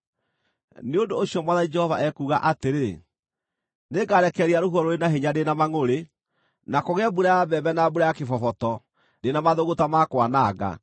“ ‘Nĩ ũndũ ũcio Mwathani Jehova ekuuga atĩrĩ: Nĩngarekereria rũhuho rũrĩ na hinya ndĩ na mangʼũrĩ, na kũgĩe mbura ya mbembe na mbura ya kĩboboto ndĩ na mathũgũta ma kwananga.